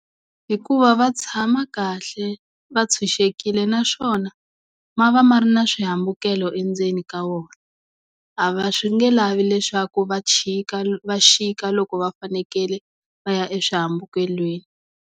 Hikuva va tshama kahle va tshunxekile naswona ma va ma ri na swihambukelo endzeni ka wona a va swi nge lavi leswaku va chika va chika loko va fanekele va ya eswihambukelweni.